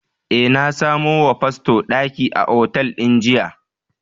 Eh, na samo wa fasto daki a otal din jiya.